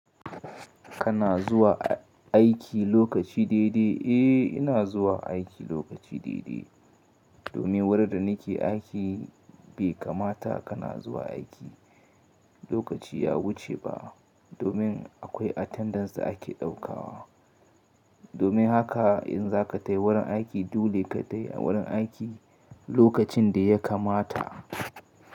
Kana zuwa aiki lokaci daidai? Eh ina zuwa aiki lokaci daidai. Domin wurin da nake aiki bai kamata kana zuwa aiki lokaci ya wuce ba. Domin akwai attendance da ake ɗaukawa. Domin haka in za ka tayi wurin aiki, dole ka tayi wurin aiki lokacin da ya kamata.